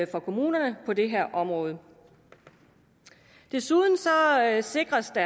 for kommunerne på det her område desuden sikres det